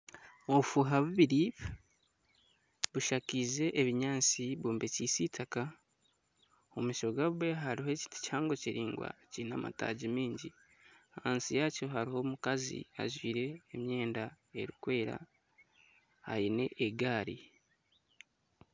Obufuuha bubiri bushakaize ebinyaatsi bwombekyeise eitaka. Omu maisho gaabwo hariho ekiti kihango kiraingwa kiine amataagi maingi. Ahansi yakyo hariho omukazi ajwaire emyenda erikwera aine egaari.